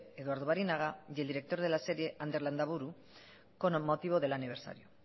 eduardo barinaga y el director de la serie ander landaburu con motivo del aniversario